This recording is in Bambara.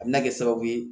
A bɛna kɛ sababu ye